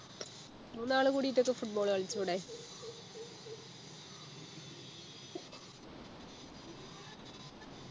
മൂന്നാളു കൂടിട്ടൊക്കെ football കളിച്ചൂടെ